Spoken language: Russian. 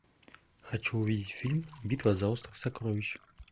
хочу увидеть фильм битва за остров сокровищ